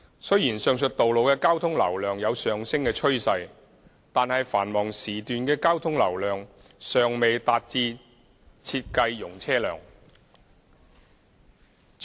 雖然上述道路的交通流量有上升趨勢，但繁忙時段的交通流量尚未達致設計容車量。